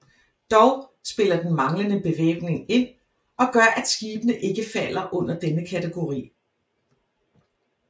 Dog spiller den manglende bevæbning ind og gør at skibene ikke falder under denne kategori